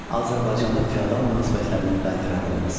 Azərbaycanda feodal münasibətlərinin bərqərar olması.